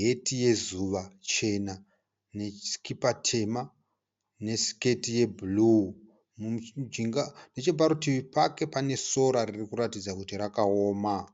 heti yezuva chena, nesikipa tema nesiketi yeburu. Neche parutivi pake panoratidza kuti pane sora rakaoma.